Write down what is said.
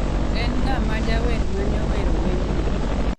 En ng'a majawer mane owero wend ni